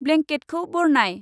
ब्लेंकेटखौ बरनाय।